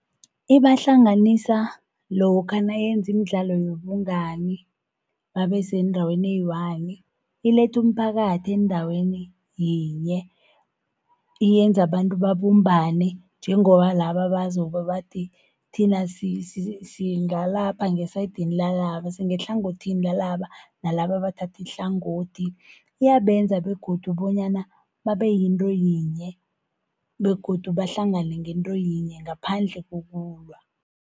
Ibahlanganisa lokha nayenza imidlalo yobungani, babe sendaweni eyi-one. Iletha umphakathi endaweni yinye. Yenza bantu babumbane, njengoba laba bazobe bathi, thina singalapha ngesayidini lalaba, singehlangothini lalaba, nalaba bathatha ihlangothi. Iyabenza begodu bonyana babe yinto yinye, begodu bahlangane ngento yinye ngaphandle kokulwa.